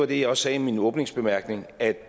det jeg sagde i min åbningsbemærkning at